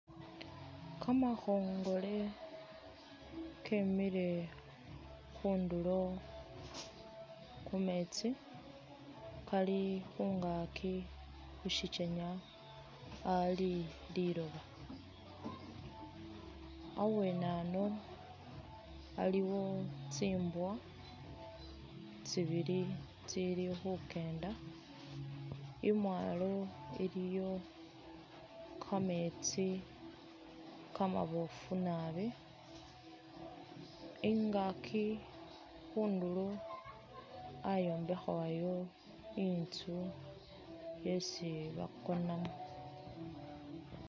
Kamakhongole kemile khundulo khumeetsi Kali khungaaki khusichenya Ali liloba abwenano aliwo tsibwa tsibili tsili khukenda imwalo iliyo kameetsi kamabofu naabi ingaki khundulo ayimbekhebwayo inzu yesi bakonamo